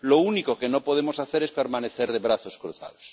Lo único que no podemos hacer es permanecer de brazos cruzados.